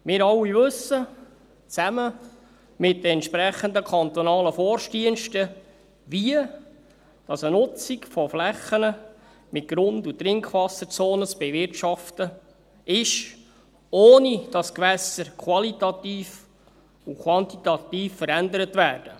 Wir alle wissen – zusammen mit den entsprechenden kantonalen Forstdiensten –, wie eine Nutzung von Flächen mit Grund- und Trinkwasserzonen zu bewirtschaften ist, ohne dass die Gewässer qualitativ und quantitativ verändert werden.